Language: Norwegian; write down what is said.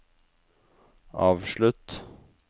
avslutt